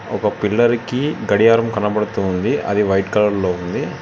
ఒక పిల్లర్ కి గడియారం కనబడుతోంది అది వైట్ కలర్ లో ఉంది.